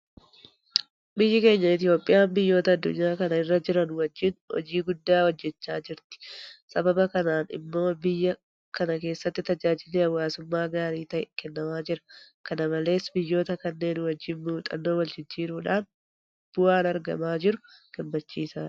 Biyyi keenya Itoophiyaan biyyoota addunyaa kana irra jiran wajjin hojii guddaa hojjechaa jirti. Sababa kanaan immoo biyya kana keessatti tajaajilli hawaasummaa gaarii ta'e kennamaa jira. Kana malees biyyoota kanneen wajjin muuxxannoo waljijjiiruudhaan bu'aan argamaa jiru gammachiisadha.